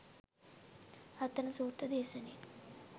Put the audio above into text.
රතන සූත්‍ර දේශනයෙන්